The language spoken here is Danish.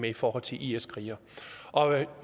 i forhold til is krigere og jeg